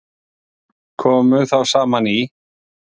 Komu þá saman í